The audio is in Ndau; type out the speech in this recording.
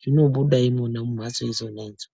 zvinobuda imwona muphatso idzona idzo.